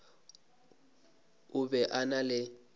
o be a na le